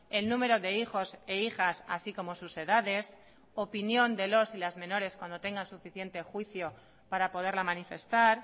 el número de hijos e hijas así como sus edades opinión de los y las menores cuando tengan suficiente juicio para poderla manifestar